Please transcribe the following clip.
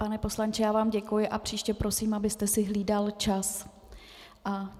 Pane poslanče, já vám děkuji a příště prosím, abyste si hlídal čas.